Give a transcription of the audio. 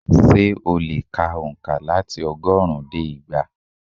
Ṣé o lè ka ònkà láti ọgọ́rùn-ún dé igba